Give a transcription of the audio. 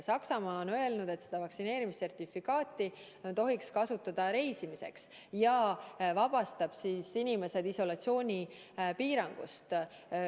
Saksamaa on öelnud, et vaktsineerimissertifikaati võiks kasutada reisimisel ja see vabastaks inimesed isolatsioonipiirangust.